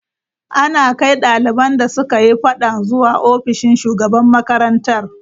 An kai daliban da suka yi fadan zuwa ofishin shugaban makarantar.